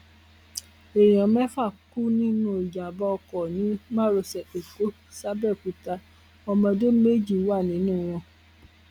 èèyàn mẹfà kú nínú ìjàmbá ọkọ ni márosẹ ẹkọ sàbéòkúta ọmọdé méjì wà nínú wọn